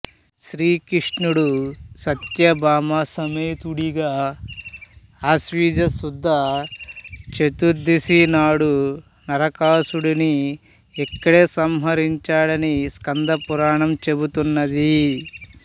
శ్రీకృష్ణుడు సత్యభామా సమేతుడిగా ఆశ్వయుజ శుద్ధ చతుర్దశి నాడు నరకాసురుడిని ఇక్కడే సంహరించాడని స్కంద పురాణం చెబుతున్నది